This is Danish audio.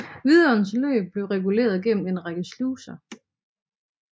Vidåens løb blev reguleret gennem en række sluser